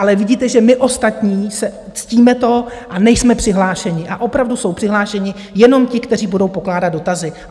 Ale vidíte, že my ostatní ctíme to a nejsme přihlášeni a opravdu jsou přihlášeni jenom ti, kteří budou pokládat dotazy.